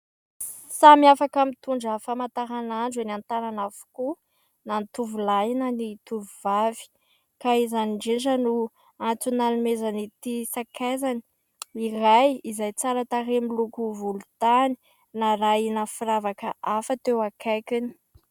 Samy afaka mitondra famantarandro eny an-tànana avokoa na ny tovolahy na ny tovovavy ka izany indrindra no antony nanomezan'ity sakaizany iray izay tsara tarehy, miloko volontany narahina firavaka hafa teo akaikiny.